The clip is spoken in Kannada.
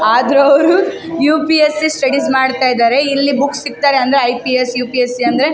ಆದ್ರೂ ಅವ್ರು ಯು.ಪಿ.ಎಸ್.ಸಿ. ಸ್ಟಡೀಸ್ ಮಾಡ್ತಾಯಿದ್ದಾರೆ ಇಲ್ಲಿ ಬುಕ್ಸ್ ಸಿಕ್ತದೆ ಅಂದ್ರೆ ಐ.ಪಿ.ಎಸ್ ಯು.ಪಿ.ಎಸ್.ಸಿ. --